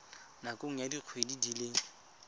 nakong ya dikgwedi di le